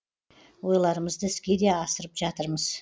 ойларымызды іске де асырып жатырмыз